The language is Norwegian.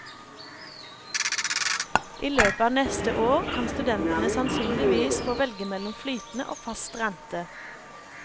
I løpet av neste år kan studentene sannsynligvis få velge mellom flytende og fast rente.